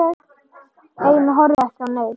Ein horfði ekki á neinn.